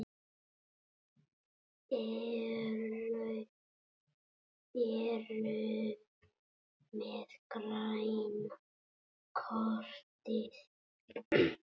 Eruði með græna kortið?